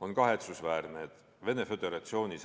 On kahetsusväärne, et Venemaa Föderatsioonis